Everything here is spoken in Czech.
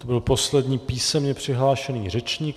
To byl poslední písemně přihlášený řečník.